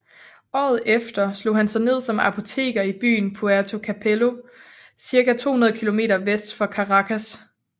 Året efter slog han sig ned som apoteker i byen Puerto Cabello circa 200 km vest for Caracas